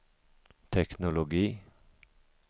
teknologi